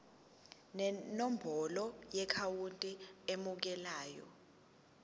nenombolo yeakhawunti emukelayo